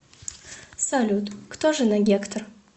салют кто жена гектор